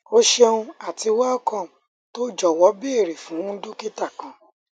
o ṣeun ati welcome to jọwọ beere fun dokita kan